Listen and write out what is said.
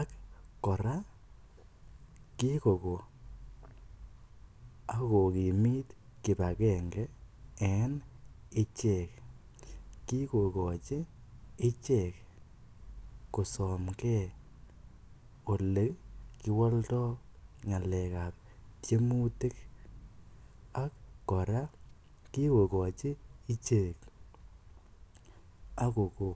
ak kora kikokoo akokimit kipagenge en ichek kikokochi ichek kosomkee ole kiwoldo ngalekap tiemutik kora kikokochi ichek akoko